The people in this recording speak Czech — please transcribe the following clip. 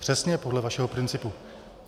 Přesně podle vašeho principu.